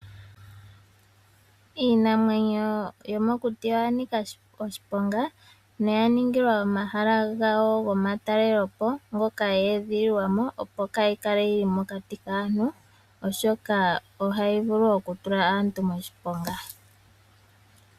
Iinamwenyo yomo kuti oya nika oshiponga noya ningilwa omahala gawo goma talelipo, ngoka yee dhililwamo opo kaa yikale yili mokati kaantu, oshoka ohayi vulu oku tula aantu moshiponga.